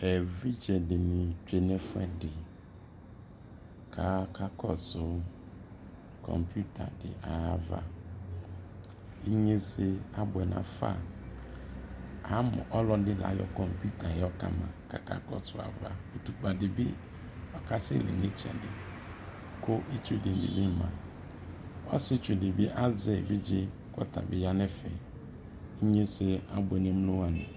ɛvidzɛ dini twɛnʋ ɛƒʋɛdi ka akakɔsʋ kɔmpʋta di ayiava, inyɛsɛ abʋɛ nʋ aƒa ,amʋ ɔlɔdi ayɔ kɔmpʋta yɛ yɔ kama kʋ aka kɔsɔ aɣa ʋtʋkpa dibi ɔkasɛ li nʋ ɛtsɛdɛ kʋitsʋ dini bi ma , ɔsii itsʋdi bi azɛ ɛvidzɛ kʋ atabi yanʋ ɛƒɛ, inyɛsɛ abʋɛ nʋɛmlɔ wani